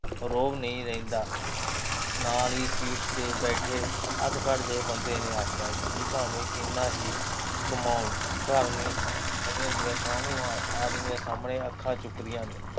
ਰੋਹਬ ਨਹੀਂ ਰਹਿੰਦਾ। ਨਾਲ ਹੀ ਸੀਟ ਤੇ ਬੈਠੇ ਅੱਧਖੜ ਜੇ ਬੰਦੇ ਨੇ ਆਖਿਆ, ਜੀ ਭਾਵੇਂ ਕਿੰਨਾ ਹੀ ਕਮਾਓ, ਘਰਆਲੀਆਂ ਕਾਹਨੂੰ ਆਦਮੀਆਂ ਸਾਹਮਣੇ ਅੱਖਾਂ ਚੁੱਕਦੀਆਂ ਨੇ।